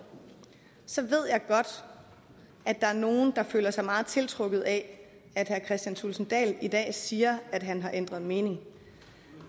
så ved jeg godt at der er nogle der føler sig meget tiltrukket af at herre kristian thulesen dahl i dag siger at han har ændret mening